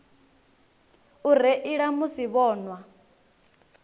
u reila musi vho nwa